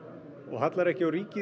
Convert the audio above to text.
hallar ekki á ríki